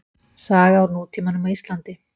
Saga úr nútímanum á Íslandi.